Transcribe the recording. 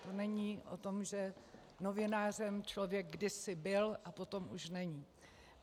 To není o tom, že novinářem člověk kdysi byl a potom už není.